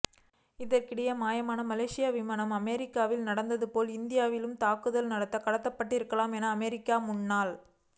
இதற்கிடையே மாயமான மலேசிய விமானம் அமெரிக்காவில் நடந்ததுபோல் இந்தியாவில் தாக்குதல் நடத்த கடத்தப்பட்டிருக்கலாம் என அமெரிக்க முன்னாள்